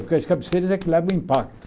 Porque as cabeceiras é que levam impacto.